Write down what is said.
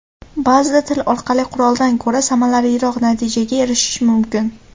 Ba’zida til orqali quroldan ko‘ra samaraliroq natijaga erishish mumkin.